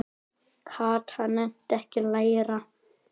Kata nennti ekki að læra.